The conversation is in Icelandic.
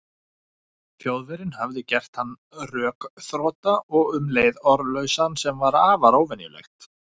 Þjóðverjinn hafði gert hann rökþrota og um leið orðlausan, sem var afar óvenjulegt.